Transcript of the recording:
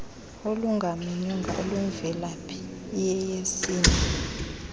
olungamenywanga olumvelaphi iyeyesini